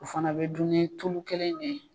O fana bɛ dun ni tulu kelen in ne ye.